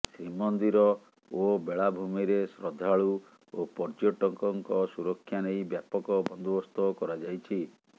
ଶ୍ରୀମନ୍ଦିର ଓ ବେଳାଭୂମିରେ ଶ୍ରଦ୍ଧାଳୁ ଓ ପର୍ଯ୍ୟଟକଙ୍କ ସୁରକ୍ଷା ନେଇ ବ୍ୟାପକ ବନ୍ଦୋବସ୍ତ କରାଯାଇଛି